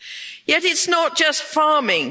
Yet it's not just farming.